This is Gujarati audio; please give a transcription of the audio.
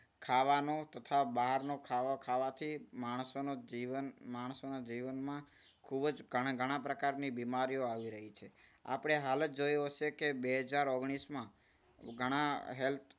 ખાવાનું તથા બહારનું ખાવા ખાવાથી માણસોનું જીવન માણસોના જીવનમાં ખૂબ જ ઘણા ઘણા પ્રકારની બીમારીઓ આવી રહી છે. આપણે હાલ જ જોયું હશે કે બે હજાર ઓગણીસમાં ઘણા health